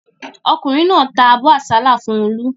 Ọkùnrin náà ta abọ́ àsálà fún Olú.